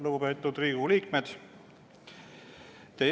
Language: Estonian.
Lugupeetud Riigikogu liikmed!